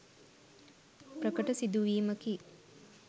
ප්‍රකට සිදුවීමකි.